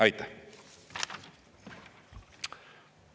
Aitäh!